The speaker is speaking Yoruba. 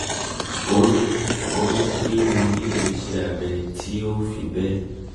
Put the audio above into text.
o ní um pé mo um nílò iṣẹ́ abẹ́ tí um ò fi bẹ́ẹ̀